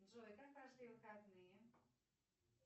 джой как прошли выходные